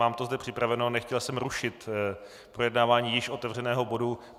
Mám to zde připraveno, nechtěl jsem rušit projednávání již otevřeného bodu.